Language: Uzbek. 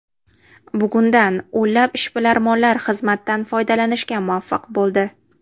Bugundan o‘nlab ishbilarmonlar xizmatdan foydalanishga muvaffaq bo‘ldi.